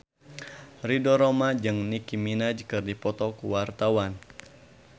Ridho Roma jeung Nicky Minaj keur dipoto ku wartawan